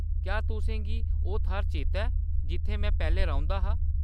क्या तुसें गी ओह्‌‌ थाह्‌‌‌र चेता ऐ जित्थै में पैह्‌‌‌लें रौंह्‌दा हा ?